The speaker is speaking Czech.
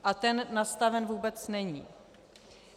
A ten nastaven vůbec není.